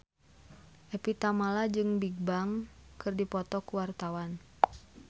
Evie Tamala jeung Bigbang keur dipoto ku wartawan